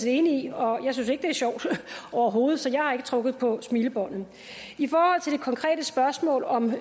enig i og jeg synes ikke det er sjovt overhovedet så jeg har ikke trukket på smilebåndet i forhold til det konkrete spørgsmål om